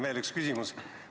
Veel üks küsimus.